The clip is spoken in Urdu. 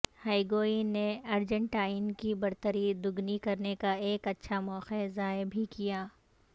ہیگوئن نے ارجنٹائن کی برتری دگنی کرنے کا ایک اچھا موقع ضائع بھی کیا